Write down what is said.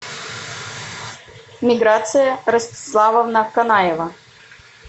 миграция ростиславовна канаева